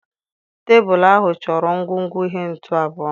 Tebụl ahụ chọrọ ngwugwu ihe ntu abụọ.